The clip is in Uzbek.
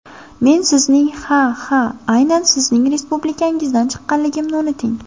Men sizning, ha, ha aynan sizning respublikangizdan chiqqanligimni unuting!